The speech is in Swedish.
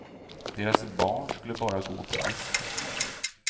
Deras barn skulle bara gå på disco.